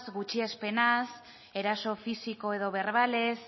gutxiespenaz eraso fisiko edo berbalez